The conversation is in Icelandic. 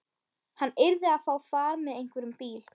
Hann yrði að fá far með einhverjum bíl.